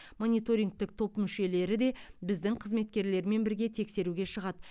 мониторингтік топ мүшелері де біздің қызметкерлермен бірге тексеруге шығады